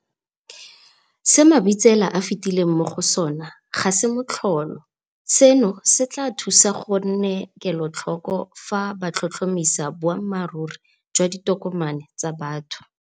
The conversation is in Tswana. Se Mabitsela a fetileng mo go sona ga se motlholo. Seno se tla ba thusa go nne kelotlhoko fa ba tlhotlhomisa boammaruri jwa ditokomane tsa motho.